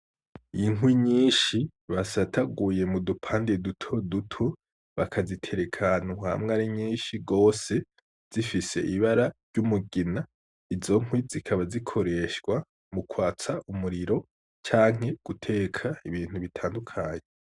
Inkwi nyinshi basataguye mudupande dutoduto bakazitereka ahantu hamwe ari nyishi gose zifise ibara ry'umugina izo nkwi zikaba zikoreshwa mukwatsa umuriro canke muguteka ibintu bitandukanye.